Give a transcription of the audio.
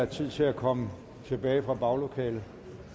tid til at komme tilbage fra baglokalet